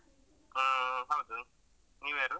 ಹಾ ಹೌದು ನೀವ್ಯಾರು?